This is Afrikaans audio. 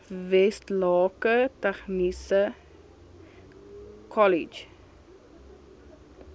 westlake tegniese kollege